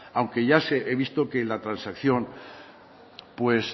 aunque ya he visto que la transacción pues